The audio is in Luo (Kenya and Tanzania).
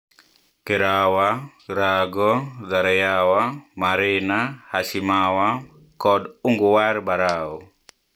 Kerawa, Rago, Zareyawa, Marina, Hashimawa, kod Unguwar Barau,